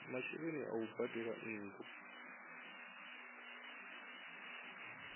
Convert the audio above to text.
masheleni a u badela nnu